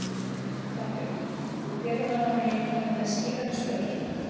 Þorbjörn: Þú telur að hann eigi að koma með skýrari svör?